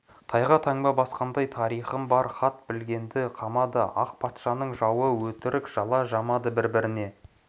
тайға таңба басқандай тарихым бар хат білгенді қамады ақ патшаның жауы деп өтірік жала жамады бір-біріне